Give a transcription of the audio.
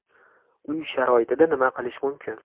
Uy sharoitida nima qilish mumkin?